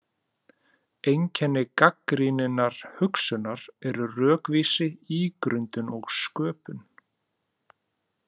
Einkenni gagnrýninnar hugsunar eru rökvísi, ígrundun og sköpun.